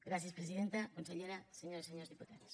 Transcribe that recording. gràcies presidenta consellera senyores i senyors diputats